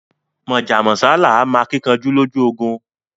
Mọ́já mọ́sá làá mọ akíkanjú lójú ogun